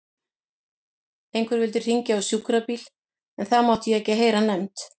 Einhver vildi hringja á sjúkrabíl en það mátti ég ekki heyra nefnt.